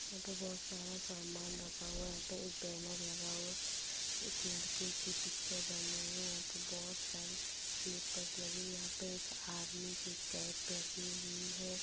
यहाँ पे बहुत सारा सामान रखा हुआ है। यहाँ पे एक बैनर लगा हुआ है। एक लड़के के पीछे बैलून यहाँ बहोत सारे स्लीपर्स लगे। यहाँ पे एक आर्मी की कैप लगी हुई है।